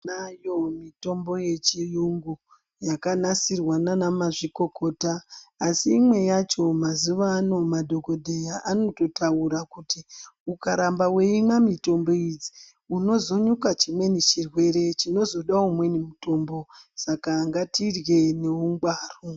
Tinayo mitombo yechiyungu yakanasirwa nanamazvikokota . Asi imwe yacho mazuvaano madhokodheya anototaura kuti ukaramba weimwa mitombo idzi unozonyuka chimweni chirwere chinozoda umweni mutombo saka ngatirye ngeungwaru.